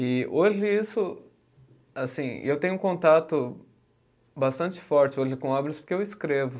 E hoje isso, assim, eu tenho um contato bastante forte hoje com obras porque eu escrevo.